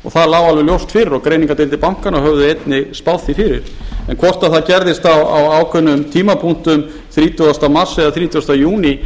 og það lá alveg ljóst fyrir og greiningardeildir bankanna höfðu einnig spáð því fyrir en hvort það gerðist á ákveðnum tímapunktum þrítugasta mars eða þrítugasta júní